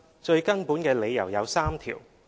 最根本的理由有三條。